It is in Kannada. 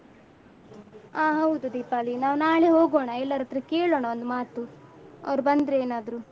ಆ ಹೌದು ದೀಪಾಲಿ ನಾವ್ ನಾಳೆ ಹೋಗೋಣ ಎಲ್ಲರತ್ರ ಕೇಳೋಣ ಒಂದ್ ಮಾತು ಅವ್ರು ಬಂದ್ರೆ ಏನಾದ್ರು.